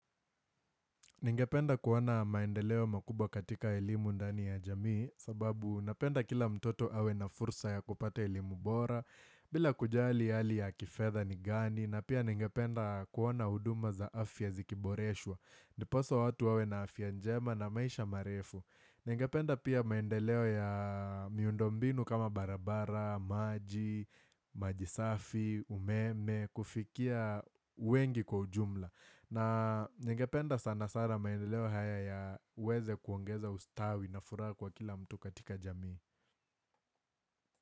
Ningependa kuona maendeleo makubwa katika elimu ndani ya jamii, sababu napenda kila mtoto awe na fursa ya kupata elimu bora, bila kujali ali ya kifedha ni gani, na pia ningependa kuona huduma za afya zikiboreshwa, ndiposa watu wawe na afya njema na maisha marefu. Ningependa pia maendeleo ya miundo mbinu kama barabara, maji, maji safi, umeme, kufikia wengi kwa ujumla. Na ningependa sana sana maendeleo haya yaweze kuongeza ustawi na furaha kwa kila mtu katika jamii.